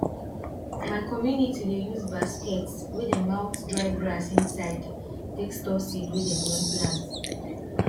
my community dey use basket wey dem out dry grass inside take store seed wey dem one plant